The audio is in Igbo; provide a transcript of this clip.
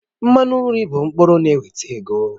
Mmanụ nri bụ mkpụrụ na-eweta ego